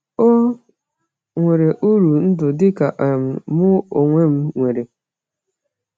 Ò nwere uru ndụ dị ka um mụ onwe m nwere?